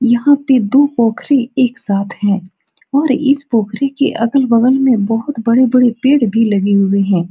यहाँ पे दो पोखरी एक साथ हैं और इस पोखरी के अगल-बगल में बहुत बड़े-बड़े पेड़ भी लगे हुए हैं।